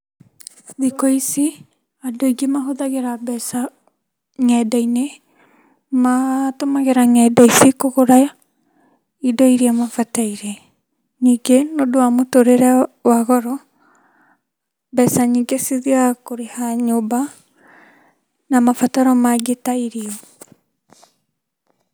Thikũ ici andũ aingĩ mahũthagira mbeca ngendainĩ matũmagĩra ngenda ici kũgũra indo iria mabataire, ningĩ nĩũndũ wa mũtũrĩre wa goro mbeca nyingĩ cithiaga kũrĩha nyũmba na mabataro mangĩ ta irio.